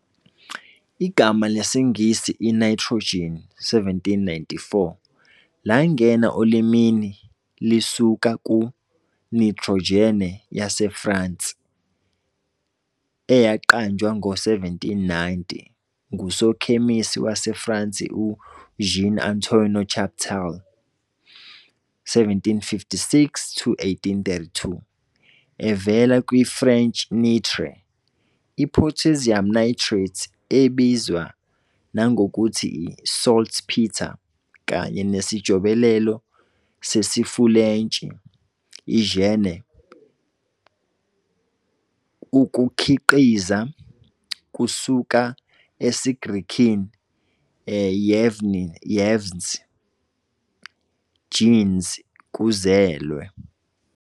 Igama lesiNgisi i-nitrogen, 1794, langena olimini lisuka ku-nitrogène yaseFrance, eyaqanjwa ngo-1790 ngusokhemisi waseFrance uJean-Antoine Chaptal, 1756-1832, evela kwi-French nitre, i-potassium nitrate, ebizwa nangokuthi i-saltpeter, kanye nesijobelelo sesiFulentshi -gène, "ukukhiqiza", kusuka esiGrekini -γενής, -genes, "kuzelwe",